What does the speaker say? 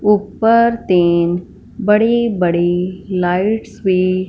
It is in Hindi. ऊपर तीन बड़ी बड़ी लाइट्स भी--